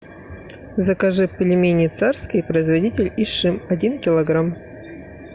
закажи пельмени царские производитель ишим один килограмм